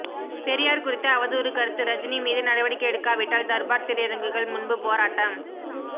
பெரியார் குறித்து அவதூறு கருத்து ரஜினி மீது நடவடிக்கை எடுக்காவிட்டால் தர்பார் திரையரங்குகள் முன்பு போராட்டம்